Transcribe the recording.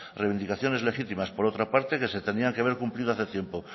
reivindicaciones legítimas por otra parte que se tenían que haber cumplido hace tiempo